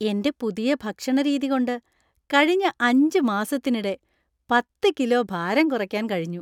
എന്‍റെ പുതിയ ഭക്ഷണരീതി കൊണ്ട് കഴിഞ്ഞ അഞ്ച് മാസത്തിനിടെ പത്ത് കിലോ ഭാരം കുറയ്ക്കാൻ കഴിഞ്ഞു.